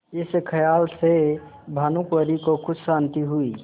इस खयाल से भानुकुँवरि को कुछ शान्ति हुई